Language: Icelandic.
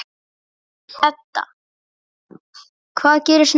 Edda: Hvað gerist næst?